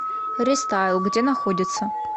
рестайл где находится